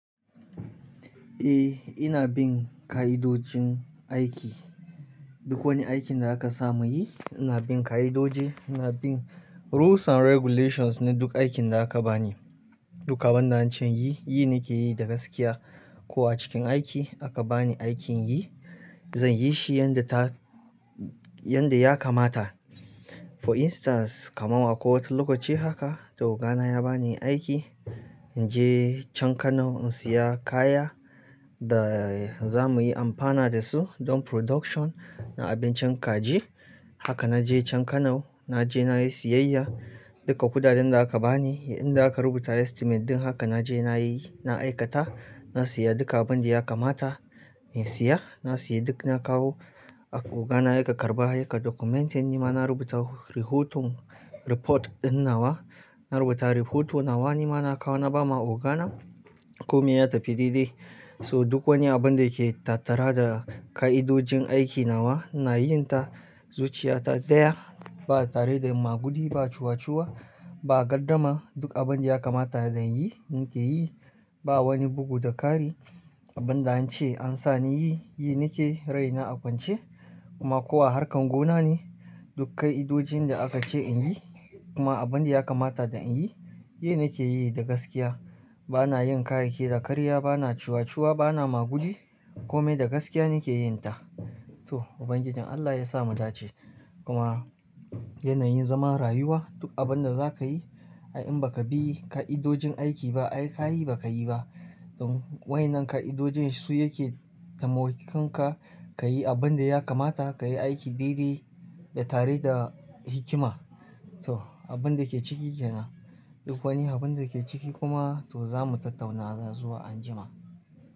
Eh ina bin ka'idojin aiki. Duk wani aikin da aka samu yi, ina bin ka'idoji, ina bin rules and regulations na duk aikin da aka bani. Duk abun da an ce yi, yi nake yi da gaskiya. Ko a cikin aiki aka bani aikin yi, zan yi shi yadda ta, yadda ya kamata. For instance, kamar wa ko wata lokaci haka, to ogana ya ba ni aiki in je can Kano in saya kaya da za mu yi amfana da su don production na abincin kaji. Haka na je can Kano, na je na yi siyayya duka kudaden da aka bani, inda aka rubuta estimate din haka na je na yi, na aikata, na saya duka abun da ya kamata in siya. Na saye duk na kawo, ogana ya karɓa ya kar documentin nima na rubuta rihotun report ɗin nawa. Na rubuta rihoton nawa nima na kawo na ba ma ogana kome ya tafi daidai. So duk wani abun da yake tattara da ka'idojin aiki nawa, na yin ta zuciya ta ɗaya. Ba tare da magudi, ba ciwaciuwa, ba gardama. Duk abin da ya kamata zan yi, nake yi. Ba wani bugu da ƙari. Abun da an ce an sa ni yi, yi nake raina a kwance. Kuma ko a harkan gona ne, duk ka'idojin da aka ce in yi, kuma abin da ya kamata dan in yi, yi nake yi da gaskiya. Ba na yin kayyaki da ƙarya, ba na ciwaciuwa, ba na magudi, kome da gaskiya nake yin ta. To Ubangijin Allah ya sa mu dace. Kuma yanayin zaman rayuwa, duk abin da za ka yi, ai in ba ka bi ka'idojin aiki ba, ai ka yi ba ka yi ba. Don wai nan ka'idojin su yake taimakon ka ka yi abin da ya kamata, ka yi aiki daidai da tare da hikima. To abin da ke ciki kenan. Duk wani abun da ke ciki kuma to za mu tattauna zuwa anjima.